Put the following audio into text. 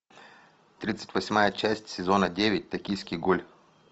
тридцать восьмая часть сезона девять токийский гуль